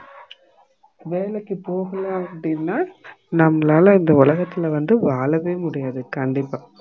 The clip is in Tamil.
வேலைக்கு போகணும் அப்டினா நம்மளால இந்த உலகத்துல வந்து வாழவே முடியாது கண்டிப்பா